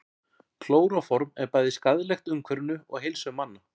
Klóróform er bæði skaðlegt umhverfinu og heilsu manna.